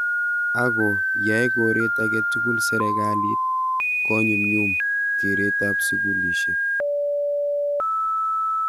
Ako yae koret ake tugul sirikalit konyumyum keret ab sukulishek.